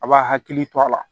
A b'a hakili to a la